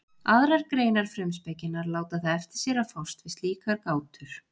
Aðrar greinar frumspekinnar láta það eftir sér að fást við slíkar gátur.